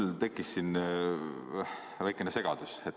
Mul tekkis siin väikene segadus.